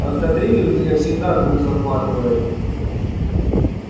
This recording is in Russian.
от кадрили у меня всегда дух захватывает